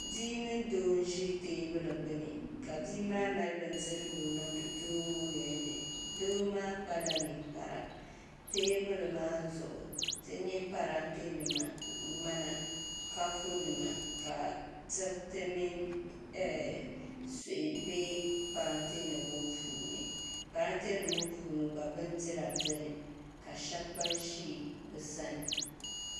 Bia mini doo n ʒi teebuli gbuni ka bia maa zaŋ bindirigu n niŋdi doo ŋo nolini doo maa kpala ninkpara teebuli maa zuɣu ti nyɛ parantɛ nima ŋmana kapu nima ka diriti mini suhi bɛ parantɛ nim ŋo puuni parantɛ nim ŋo puuni gba bindira biɛni ka shab gba ʒi bi sani